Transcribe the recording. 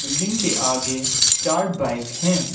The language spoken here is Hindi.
बिल्डिंग के आगे चार बाइक हैं।